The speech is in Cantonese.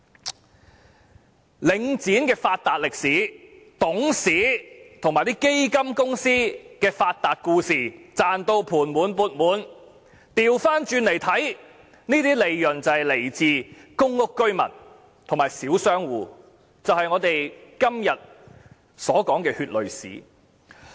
從領展的發達歷史及董事和基金公司的發達故事可見，他們全都"賺到盤滿缽滿"，反過來看，這些利潤是來自公屋居民和小商戶，也就是我們今天所說的血淚史。